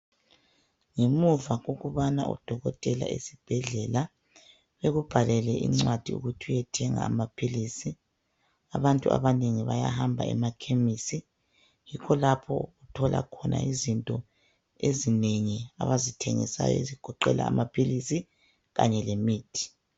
Ngemuva kokubana odokotela esibhedlela bekubhalele incwadi ukuthi uyethenga amaphilisi. Abantu abanengi bayahamba emakhemisi. Yikho lapho othola khona izinto ezinengi abazithengisayo ezigoqela amaphilisi kanye lemithi.